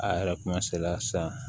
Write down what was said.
A yɛrɛ kuma sela san